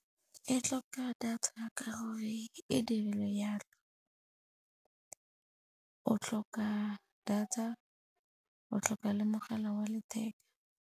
E tlhoka data ka gore e dirilwe jalo. O tlhoka data, o tlhoka le mogala wa letheka.